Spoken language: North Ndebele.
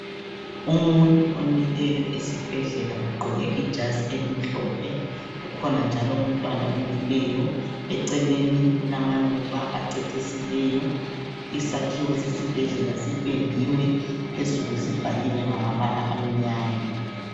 Umuntu omileyo esibhedlela ugqoke ijazi elimhlophe. Kukhona njalo umntwana omileyo. Eceleni kulamaluba acecisileyo. Isakhiwo sesibhedlela sipendiwe, phezulu sibhaliwe ngamabala amnyama.